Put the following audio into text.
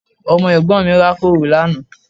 Ọmọ Ẹ̀gbọ́n mi rákòrò lánàá